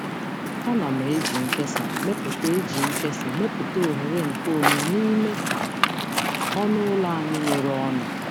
Ana m eji nkesa mepụta eji nkesa mepụta oghere nkeonwe n'ime ọnụ ụlọ anyị nwere ọnụ.